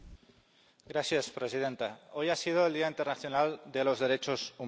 Señora presidenta, hoy ha sido el Día Internacional de los Derechos Humanos.